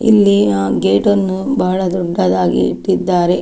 ಇಲ್ಲಿ ಆ ಗೇಟ್ ನ್ನು ಬಹಳ ದೊಡ್ಡದಾಗಿ ಇಟ್ಟಿದ್ದಾರೆ.